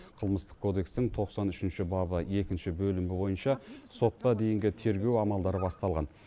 қылмыстық кодекстің тоқсан үшінші бабы екінші бөлігі бойынша сотқа дейінгі тергеу амалдары басталған